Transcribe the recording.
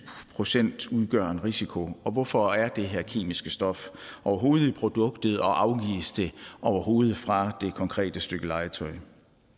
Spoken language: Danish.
procent udgør en risiko og hvorfor er det her kemiske stof overhovedet i produktet og afgives det overhovedet fra det konkrete stykke legetøj